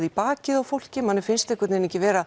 í bakið á fólki manni finnst einhvern veginn ekki vera